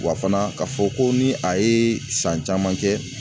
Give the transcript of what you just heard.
Wa fana ka fɔ ko ni a ye san caman kɛ